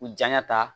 U janya ta